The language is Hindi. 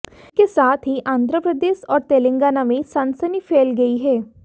इसके साथ ही आंध्र प्रदेश और तेलंगाना में सनसनी फैल गई है